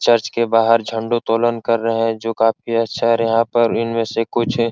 church के बाहर झंडो तोलन कर रहे हैं जो काफी अच्छा है और यहां पर इन में से कुछ --